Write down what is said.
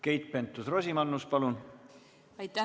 Keit Pentus-Rosimannus, palun!